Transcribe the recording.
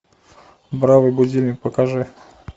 бравый будильник покажи